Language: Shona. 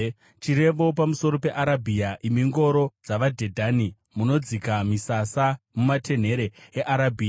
Chirevo pamusoro peArabhia: Imi ngoro dzavaDhedhani, munodzika misasa mumatenhere eArabhia,